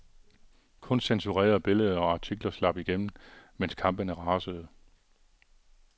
Kun censurerede billeder og artikler slap igennem, mens kampene rasede.